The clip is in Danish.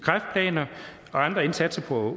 andre indsatser på